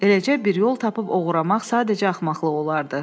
Eləcə bir yol tapıb oğurlamaq sadəcə axmaqlıq olardı.